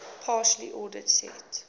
partially ordered set